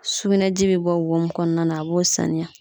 Sugunɛji bɛ bɔ wo mun kɔnɔna na a b'o saniya